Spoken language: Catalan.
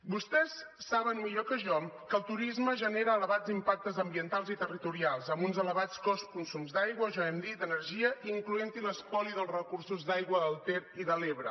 vostès saben millor que jo que el turisme genera elevats impactes ambientals i territorials amb uns elevats consums d’aigua ja ho hem dit d’energia incloent hi l’espoli dels recursos d’aigua del ter i de l’ebre